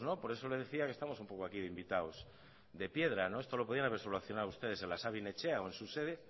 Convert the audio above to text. por eso le decía que estamos un poco aquí de invitados de piedra esto lo podían haber solucionado ustedes en la sabin etxea o en su sede